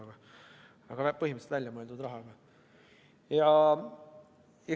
Aga jah, põhimõttelist on tegemist väljamõeldud rahaga.